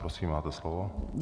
Prosím, máte slovo.